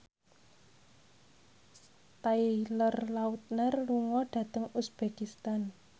Taylor Lautner lunga dhateng uzbekistan